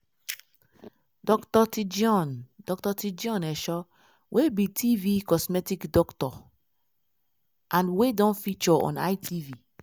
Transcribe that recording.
dr tijion dr tijion esho wey be tv cosmetic doctor and wey don feature on itv